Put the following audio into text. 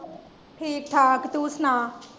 ਠੀਕ ਠਾਕ ਤੂੰ ਸੁਣਾ।